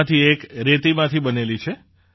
તેમાંથી એક રેતીમાંથી બનેલી છે